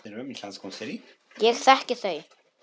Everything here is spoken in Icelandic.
Ég þekki þau.